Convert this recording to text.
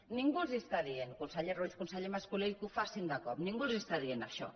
ningú els està dient conseller ruiz conseller mas colell que ho facin de cop ningú els està dient això